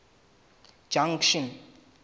junction